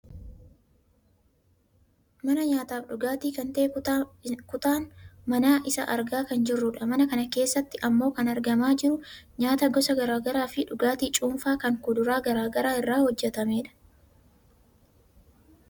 mana nyaataaf dhugaaatii kan ta'e kutaa mana isaa argaa kan jirrudha. mana kana keessatti ammoo kan argamaa ajiru nyaata gosa gara garaa fi dhugaatii cuunfaa kan kuduraa gar garaa irraa hojjatamedha.